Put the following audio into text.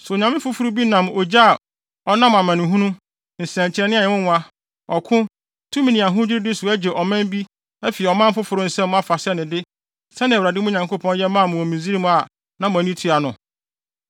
So onyame foforo bi nam ogye a ɔnam amanehunu, nsɛnkyerɛnne a ɛyɛ nwonwa, ɔko, tumidi ne ahodwiriwde so agye ɔman bi afi ɔman foforo bi nsam afa sɛ ne de, sɛnea Awurade, mo Nyankopɔn, yɛ maa mo wɔ Misraim a na mo ani tua no?